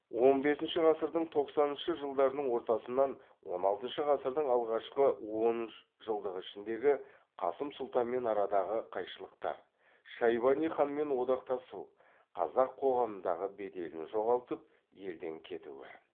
он бесінші ғасырдың тоқсаныншы жылдарының ортасынан он алтыншы ғасырдың алғашқы он үш жылдығы ішіндегі қасым сұлтанмен арадағы қайшылықтар шайбани ханмен одақтасу қазақ қоғамындағы беделін жоғалтып елден кетуі